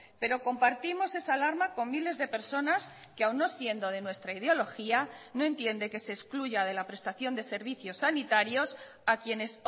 pero compartimos esa alarma con miles de personas que aun no siendo de nuestra ideología no entiende que se excluya de la prestación de servicios sanitarios a quienes